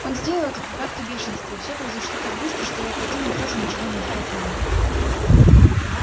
он сделал это в припадке бешенства и все произошло так быстро что его противник тоже ничего не успел понять